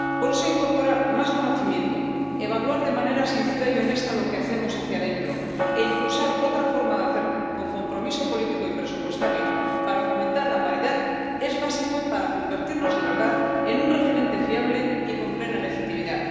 Por eso, incorporar más conocimiento, evaluar de manera sincera y honesta lo que hacemos hacia dentro e impulsar otra forma de hacer con compromiso político y presupuestario para fomentar la paridad es básico para convertirnos de verdad en un referente fiable y con plena legitimidad.